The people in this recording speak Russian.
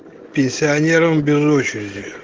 пенсионерам без очереди